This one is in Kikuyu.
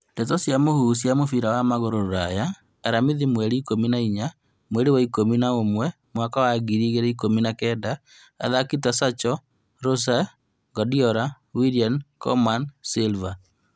Ndeto cia mũhuhu cia mũbira wa magũrũ Rũraya aramithi mweri ikũmi na inya mweri wa ikũmi na ũmwe mwaka ngiri igĩrĩ ikũmi na kenda athaki ta Sancho, Rose, Guardiola, William, Koeman, Silva